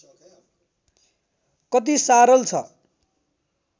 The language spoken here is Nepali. कति सारल छ